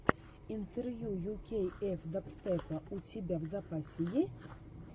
интервью ю кей эф дабстепа у тебя в запасе есть